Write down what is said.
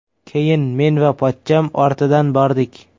Keyin men va pochcham ortidan bordik.